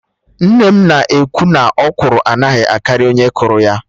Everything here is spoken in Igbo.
Nne m na ekwu naỌkwụrụ anaghị etokarị onye kụrụ ya